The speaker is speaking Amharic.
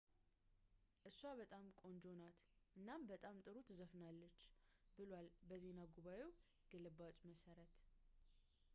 እሷ በጣም ቆንጆ ናት እና በጣም ጥሩም ትዘፍናለች ብሏል በዜና ጉባኤው ግልባጭ መሠረት ነው